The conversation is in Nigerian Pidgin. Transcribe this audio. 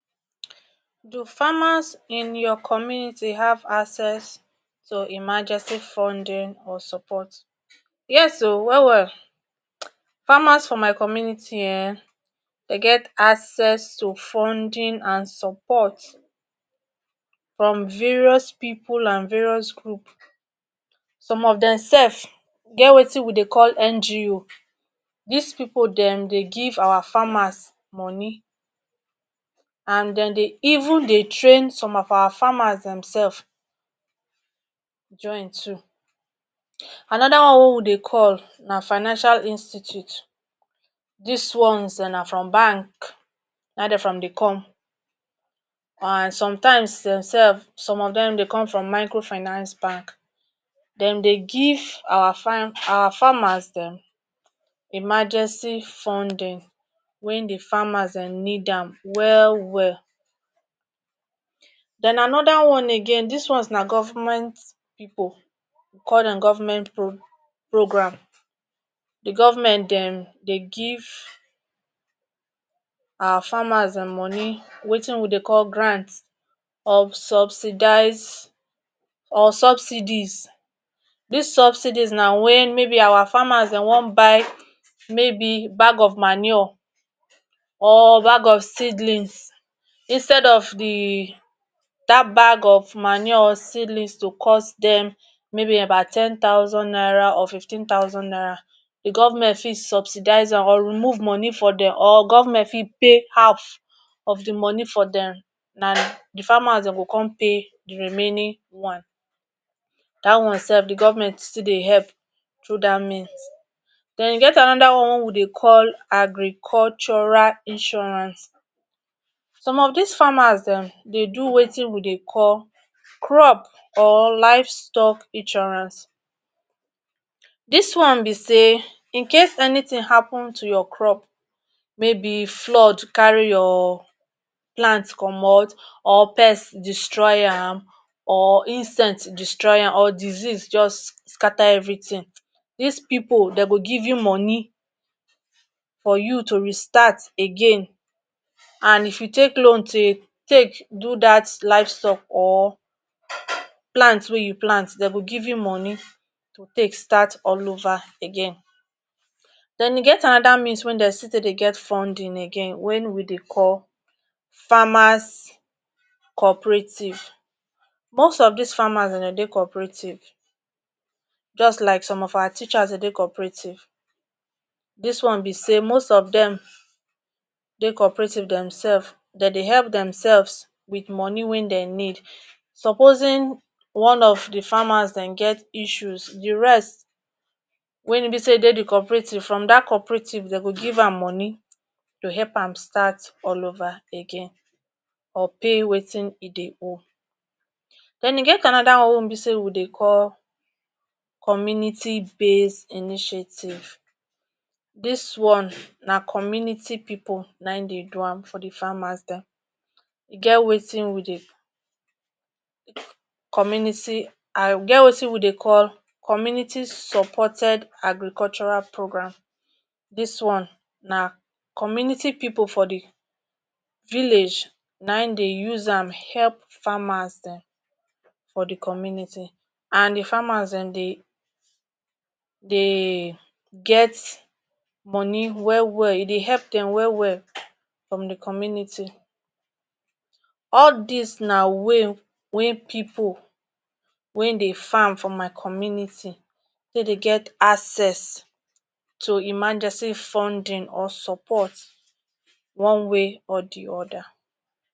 Do farmers in your community have access to emergency funding or support. Yes o well well, farmers for my community um dey get access to funding and support from various people and various group some of them sef geh wetin we dey call NGO. dis people dem dey giv our farmer moni and dem dey even dey train some of our farmers demselves join too. Another one way we dey call na financial institute, this ones dem na from bank na in dem dey come and sometime some of dem dey come from microfinance bank, dem dey give our farmer dem emergency funding when the farmer dem need am well well. den another one again this one na government pipul, we call dem government programme. The government dem dey give farmer money wetin we de call grant, subsidize or subsidies, this subsidies na when may be our farmer dem want buy may be bag of manure or bag of seedlings, instead of that bag of manure or seedlings to cause dem about ten thousand naira to fifteen thousand naira, the government fit subsidize am or remove money for dem or government fit come pay half of the money for dem, na the farmer them go come pay the remaining one. That one self the government still dey help through that means. Then e get another one wey we dey call agricultural insurance, some of dis farmers dem dey do wetin we they call crop or livestock insurance, this one be sey incase if anything happen to your crop may be flood carry your plant comot or pest destroy am or insect destroy am or disease just scatter everything, this people them go give you money for you to restart again and if you take loan take do that livestock or plant wey you plant dem go give you money to take start all over again. Then e get another means wey dey still dey get funding again wen we dey call, farmers co-operative, most of this farmers dem de dey co-operative just like some of our teachers dem dey co-operative, this one be say most of dem dey cooperative themselves dem they help themselves with money wen dem need. Supposing one of the farmers them get issues the rest wey be sey dey de co-operative from that co-operative dem go give am money to help am start all over again or pay wetin he dey hold. Then e get another one wey e be sey we dey call community base initiative, this one na community pipul wey dey do am for the farmers dem. e get wetin we dey e get wetin we dey call community supported agricultural programme. This one na community pipul for the village na in dey use am help farmers dem for the community and the farmers dem dey get money well-well e dey help dem well-well from the community. All these na way wey people farm for my community, take dey get access to emergency funding or support one way or the oda.